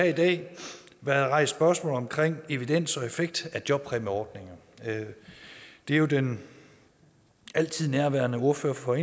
i dag været rejst spørgsmål om evidens og effekt af jobpræmieordninger det er jo den altid nærværende ordfører for